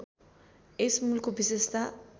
यस मूलको विशेषता